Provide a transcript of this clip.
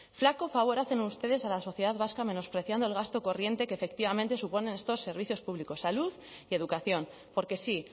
flaco favor hacen ustedes a la sociedad vasca menospreciando el gasto corriente que efectivamente suponen estos servicios públicos salud y educación porque sí